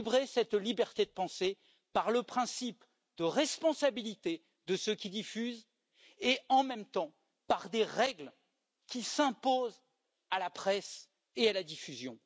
cette liberté de penser par le principe de responsabilité de ceux qui diffusent et, en même temps, par des règles qui s'imposent à la presse et à la diffusion.